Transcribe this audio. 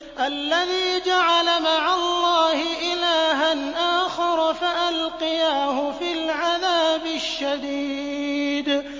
الَّذِي جَعَلَ مَعَ اللَّهِ إِلَٰهًا آخَرَ فَأَلْقِيَاهُ فِي الْعَذَابِ الشَّدِيدِ